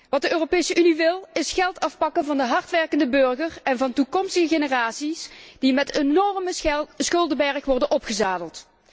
Wat de Europese Unie wil, is geld afpakken van de hardwerkende burger en van toekomstige generaties, die met enorme schuldenbergen worden opgezadeld.